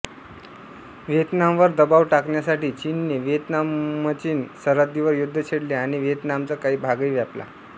व्हिएतनामवर दबाव टाकण्यासाठी चीनने व्हिएतनामचीन सरहद्दीवर युद्ध छेडले आणि व्हिएतनामचा काही भागही व्यापला